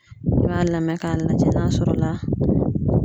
I b'a lamɛ k'a lajɛ n'a sɔrɔla